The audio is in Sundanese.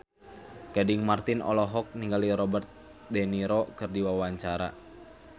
Gading Marten olohok ningali Robert de Niro keur diwawancara